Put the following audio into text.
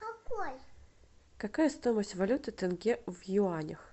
какая стоимость валюты тенге в юанях